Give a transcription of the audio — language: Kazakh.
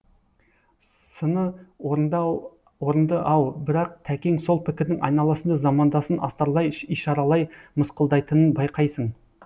сыны орынды ау бірақ тәкең сол пікірдің айналасында замандасын астарлай ишаралай мысқылдайтынын байқайсың